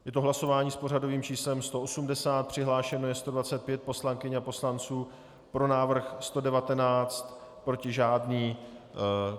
Je to hlasování s pořadovým číslem 80, přihlášeno je 125 poslankyň a poslanců, pro návrh 119, proti žádný.